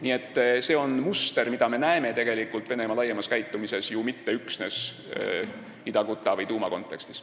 Nii et see on muster, mida me näeme tegelikult Venemaa käitumises laiemalt, mitte üksnes Ida-Guta või Douma kontekstis.